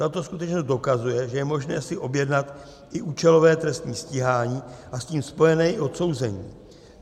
Tato skutečnost dokazuje, že je možné si objednat i účelové trestní stíhání a s tím spojené i odsouzení.